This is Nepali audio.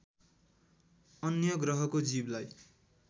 अन्य ग्रहको जीवलाई